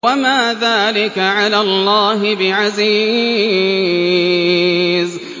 وَمَا ذَٰلِكَ عَلَى اللَّهِ بِعَزِيزٍ